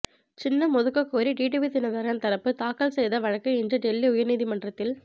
சின்னம் ஒதுக்க கோரி டிடிவி தினகரன் தரப்பு தாக்கல் செய்த வழக்கு இன்று டெல்லி உயர்நீதிமன்றத்தில்